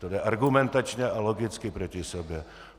To jde argumentačně a logicky proti sobě.